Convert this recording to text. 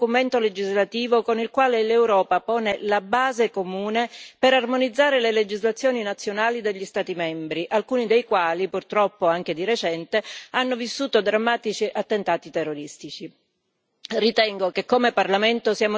La direttiva sulla lotta contro il terrorismo è un importante documento legislativo con il quale l'Europa pone la base comune per armonizzare le legislazioni nazionali degli Stati membri, alcuni dei quali, purtroppo anche di recente, hanno vissuto drammatici attentati terroristici.